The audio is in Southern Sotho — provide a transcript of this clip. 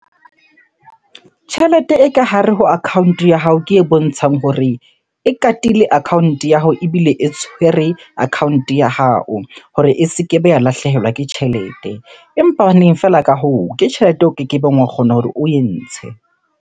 Tjhelete e ka hare ho account-o ya hao ke e bontshang hore e katile account-e ya hao ebile e tshwere account-e ya hao hore e se ke be ya lahlehelwa ke tjhelete. Empa feela ka hoo, ke tjhelete o kekebeng wa kgona hore oe ntshe.